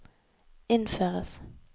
innføres